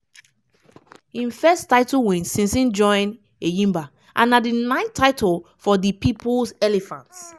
im first title win since im join enyimba and na di 9th title for di 'peoples elephants'.